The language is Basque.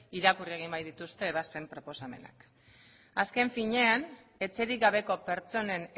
irakurri egin baitituzte ebazpen proposamenak azken finean etxerik gabeko pertsonen